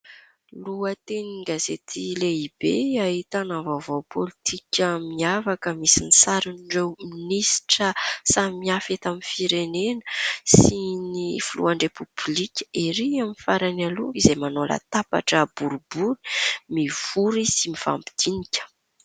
Lohaten-gazaty lehibe ahitana vaovao politika miavaka. Misy ny sarin'ireo minisitra samihafa eto amin'ny firenena sy ny filohan'ny repoblika ery amin'ny farany aloha izay manao latabatra boribory mivory sy mifampidinika.